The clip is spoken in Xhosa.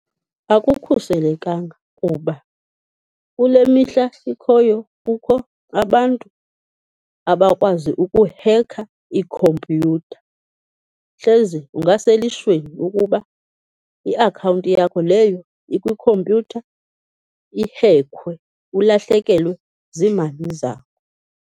Akukhuselekanga kuba kule mihla sikhoyo kukho abantu abakwazi ukuhekha iikhompyutha. Hleze ungaselishweni lokuba iakhawunti yakho leyo ikwikhompyutha ihekhwe, ulahlekelwe ziimali zakho.